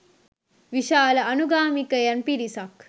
විශාල අනුගාමිකයන් පිරිසක්